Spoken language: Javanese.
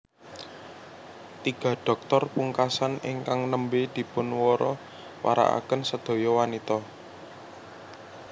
Tiga dhoktor pungkasan ingkang nembé dipunwara warakaken sedaya wanita